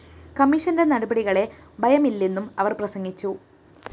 കമ്മീഷന്റെ നടപടികളെ ഭയമില്ലെന്നും അവര്‍ പ്രസംഗിച്ചു